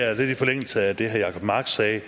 er lidt i forlængelse af det herre jacob mark sagde